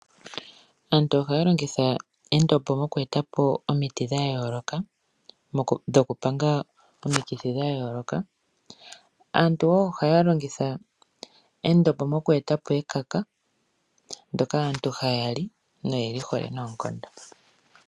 Aantu ohaya longitha endombo moku eta po omiti dha yooloka dhokupanga omikithi dha yooloka. Aantu wo ohaya longitha endombo moku eta po ekaka ndyoka aantu haya li noye li hole noonkondo.